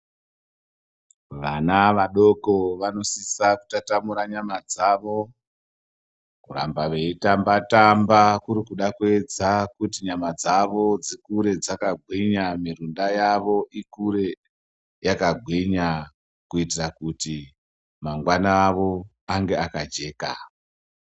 Vana vadoko vanosisa kutatamura nyama dzavo, kuramba veitamba-tamba kuri kuda kuedza kuti nyama dzavo dzikure dzakagwinya mirunda yavo ikure yakagwinya kuitira kuti mangwana avo ange akajeka.